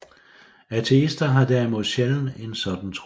Ateister har derimod sjældent en sådan tro